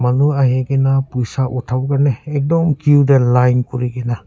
manu ahikae na poisa uthawolae ekdum que tae line kurikaena.